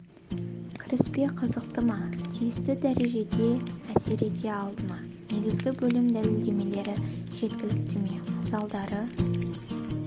кіріспе қызықты ма тиісті дәрежеде әсер ете алды ма негізгі бөлім дәлелдемелері жеткілікті ме мысалдары